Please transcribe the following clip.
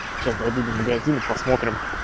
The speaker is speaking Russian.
сейчас дойду до магазина посмотрим